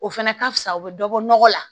O fɛnɛ ka fisa o be dɔ bɔ nɔgɔ la